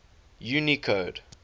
unicode